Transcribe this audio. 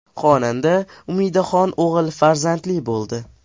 Xonanda Umidaxon o‘g‘il farzandli bo‘ldi.